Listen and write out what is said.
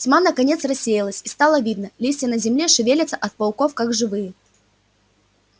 тьма наконец рассеялась и стало видно листья на земле шевелятся от пауков как живые